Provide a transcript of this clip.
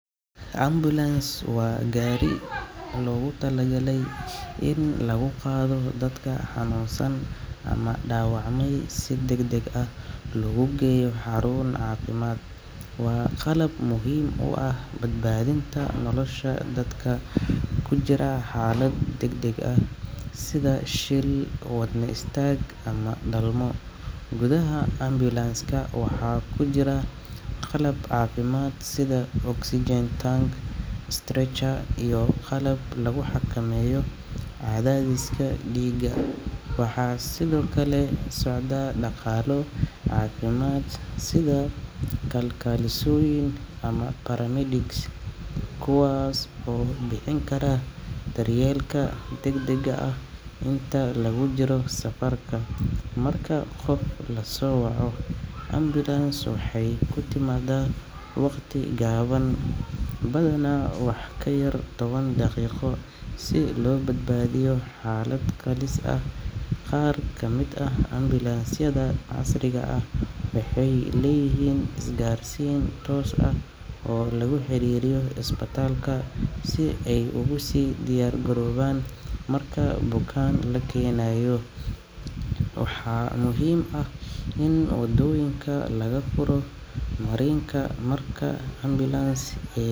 Ambulance waa gaari loogu talagalay in lagu qaado dadka xanuunsan ama dhaawacmay si degdeg ah loogu geeyo xarun caafimaad. Waa qalab muhiim u ah badbaadinta nolosha dadka ku jira xaalad degdeg ah sida shil, wadne istaag, ama dhalmo. Gudaha ambulance-ka waxaa ku jira qalab caafimaad sida oxygen tank, stretcher, iyo qalab lagu xakameeyo cadaadiska dhiigga. Waxaa sidoo kale la socda shaqaale caafimaad sida kalkaalisooyin ama paramedics kuwaas oo bixin kara daryeelka degdegga ah inta lagu jiro safarka. Marka qof la soo waco, ambulance waxay ku timaadaa waqti gaaban, badanaa wax ka yar toban daqiiqo, si loo badbaadiyo xaalad halis ah. Qaar ka mid ah ambulance-yada casriga ah waxay leeyihiin isgaarsiin toos ah oo lagu xiriiriyo isbitaalka si ay ugu sii diyaargaroobaan marka bukaan la keenayo. Waxaa muhiim ah in waddooyinka laga furo marinka marka ambulance ay.